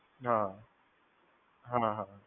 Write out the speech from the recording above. હા હા.